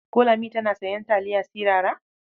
Ko Lami tana sayan taliya sirara?